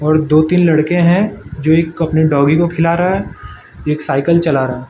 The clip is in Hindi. और दो तीन लड़के हैं जो एक अपने डॉगी को खिला रहा है एक साइकिल चला रहा--